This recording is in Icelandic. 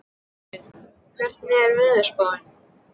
Hilmir, hvernig er veðurspáin?